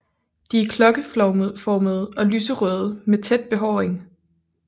De er klokkeformede og lyserøde med tæt behåring